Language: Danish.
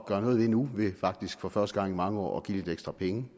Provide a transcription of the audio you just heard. gøre noget ved nu ved faktisk for første gang i mange år at give lidt ekstra penge